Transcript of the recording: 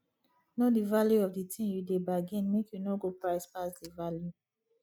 know di value of di tin you dey bargain make you no go price pass di value